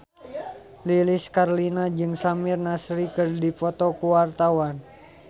Lilis Karlina jeung Samir Nasri keur dipoto ku wartawan